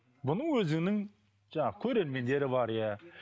бұның өзінің жаңағы көрермендері бар иә